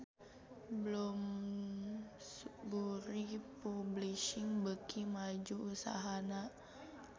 Bloomsbury Publishing beuki maju usahana